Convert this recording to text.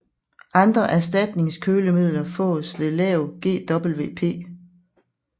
Andre erstatningskølemidler fås med lav GWP